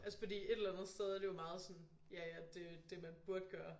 Altså fordi et eller andet sted er det jo meget sådan ja ja det jo det man burde gøre